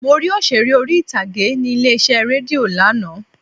Mo rí Òṣeré orí ìtàgé ní ilé iṣẹ́ rédíò lánàá.